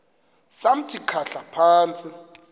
samthi khahla phantsi